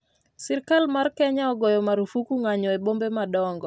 Sirikal mar Kenya ogoyo marufuku ng'anyo e bombe madongo